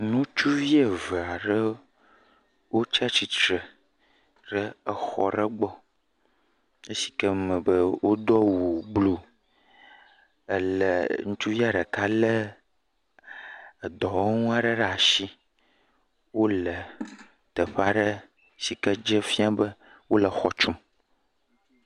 Nutsuvi ve aɖe wotsa tsitsre ɖe exɔ ɖe gbɔ eshi ke me be wodo awu bluu. Ele, ŋutsuvia ɖeka lé edɔwɔnu aɖe ɖe ashi. Wole teƒe aɖe shi ke dze fiã be wole xɔ tsum.